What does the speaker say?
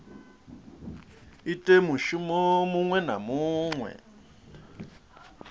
ite mushumo muṅwe na muṅwe